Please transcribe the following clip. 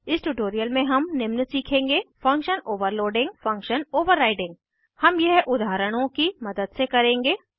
इस ट्यूटोरियल में हम निम्न सीखेंगे फंक्शन ओवरलोडिंग फंक्शन ओवर्राइडिंग हम यह उदाहरणों की मदद से करेंगे